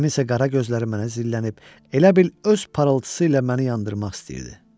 Kiminsə qara gözləri mənə zillənib, elə bil öz parıltısı ilə məni yandırmaq istəyirdi.